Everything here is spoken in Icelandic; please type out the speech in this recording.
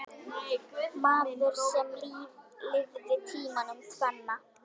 Maður sem lifði tímana tvenna.